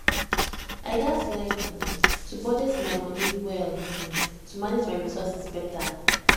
i gats learn um to budget my money well um to manage my resources better